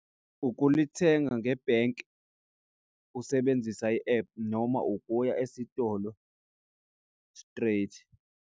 Ukulithenga ngebhenki usebenzisa i-app noma ukuya esitolo straight.